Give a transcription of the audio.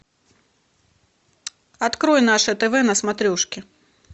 открой наше тв на смотрешке